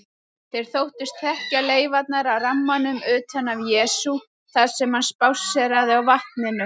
Þeir þóttust þekkja leifarnar af rammanum utan af Jesú þar sem hann spásséraði á vatninu.